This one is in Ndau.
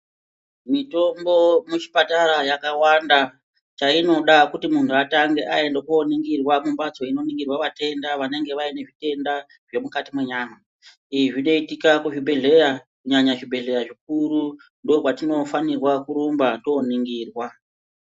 Mitombo muchipatara yakawanda chainoda kuti muntu atange aendaku oningirwa kumbatso kunoningirwa vatenda vange vaine zvitenda zvemukati menyama izvi zvinoitika kuzvibhedhlera kunyanya kuzvibhedhlera zvikuru ndokwatino fanirwa kurumba toningirwa.